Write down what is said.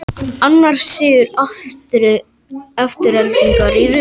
Annar sigur Aftureldingar í röð